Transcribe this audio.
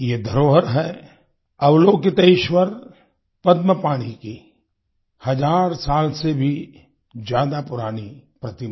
ये धरोहर है अवलोकितेश्वर पद्मपाणि की हजार साल से भी ज्यादा पुरानी प्रतिमा